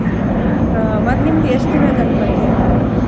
ಮತ್ ನಿಮ್ದ್ ಎಷ್ಟ್ ದಿನಾ ಗಣ್ಪತಿ ಕೂಡುತ್ತ?